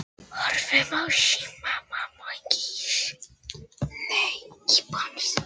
Ég myndi aftur á móti skammast mín fyrir að hafa ekkert gert.